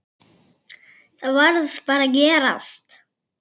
Það varð bara að gerast.